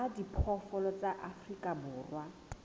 a diphoofolo tsa afrika borwa